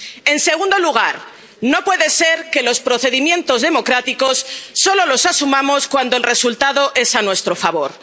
En segundo lugar, no puede ser que los procedimientos democráticos solo los asumamos cuando el resultado es a nuestro favor.